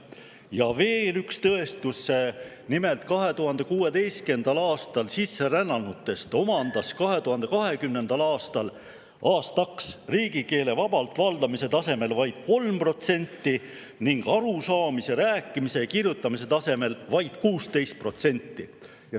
Ja veel üks tõestus: nimelt, 2016. aastal sisserännanutest omandas 2020. aastaks riigikeele vabalt valdamise tasemel vaid 3% ning arusaamise, rääkimise ja kirjutamise tasemel vaid 16%.